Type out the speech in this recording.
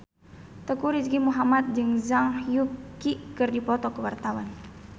Teuku Rizky Muhammad jeung Zhang Yuqi keur dipoto ku wartawan